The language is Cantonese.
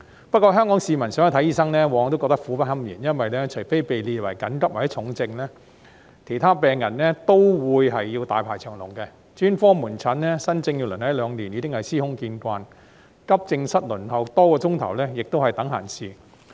不過，香港市民想看醫生往往覺得苦不堪言，因為除被列為急症或重症的病人外，其他病人都會大排長龍，專科門診新症要輪候一兩年已司空見慣，急症室輪候多個小時亦是等閒事。